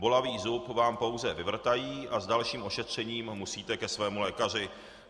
Bolavý zub vám pouze vyvrtají a s dalším ošetřením musíte ke svému lékaři.